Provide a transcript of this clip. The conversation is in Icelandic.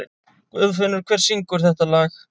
Guðfinnur, hver syngur þetta lag?